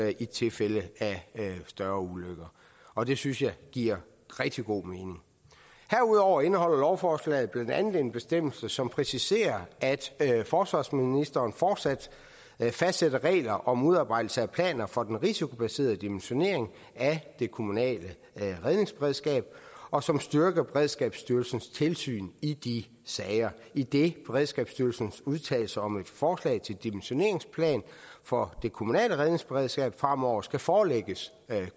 i tilfælde af større ulykker og det synes jeg giver rigtig god mening herudover indeholder lovforslaget blandt andet en bestemmelse som præciserer at forsvarsministeren fortsat fastsætter regler om udarbejdelse af planer for den risikobaserede dimensionering af det kommunale redningsberedskab og som styrker beredskabsstyrelsens tilsyn i de sager idet beredskabsstyrelsens udtalelser om et forslag til dimensioneringsplan for det kommunale redningsberedskab fremover skal forelægges